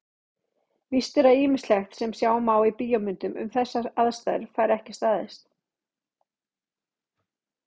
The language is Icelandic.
Víst er að ýmislegt sem sjá má í bíómyndum um þessar aðstæður fær ekki staðist.